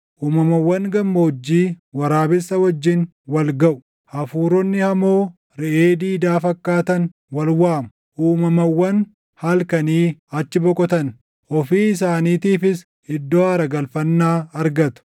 Uumamawwan gammoojjii waraabessa wajjin wal gaʼu; hafuuronni hamoo reʼee diidaa fakkaatan wal waamu; uumamawwan halkanii achi boqotan; ofii isaaniitiifis iddoo aara galfannaa argatu.